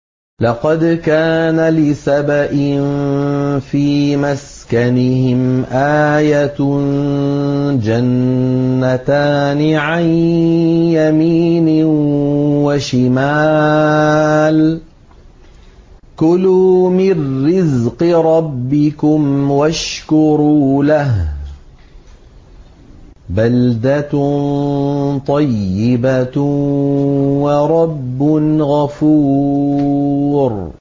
لَقَدْ كَانَ لِسَبَإٍ فِي مَسْكَنِهِمْ آيَةٌ ۖ جَنَّتَانِ عَن يَمِينٍ وَشِمَالٍ ۖ كُلُوا مِن رِّزْقِ رَبِّكُمْ وَاشْكُرُوا لَهُ ۚ بَلْدَةٌ طَيِّبَةٌ وَرَبٌّ غَفُورٌ